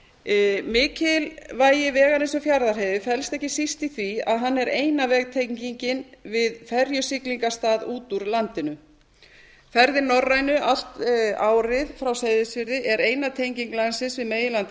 veginn mikilvægi vegarins um fjarðarheiði felst ekki síst í því að hann er eina vegtengingin við ferjusiglingarstað út úr landinu ferðir norrænu allt árið frá seyðisfirði er eina tenging landsins við meginland